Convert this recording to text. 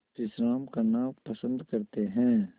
विश्राम करना पसंद करते हैं